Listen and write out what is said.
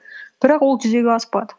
бірақ ол жүзеге аспады